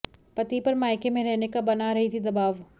पति पर मायके में रहने का बना रही थी दबाव